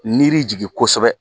Niri jigin kosɛbɛ